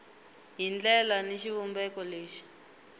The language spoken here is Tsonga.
hi ndlela ni xivumbeko lexi